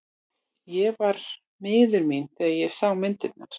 Ég var miður mín þegar ég sá myndirnar.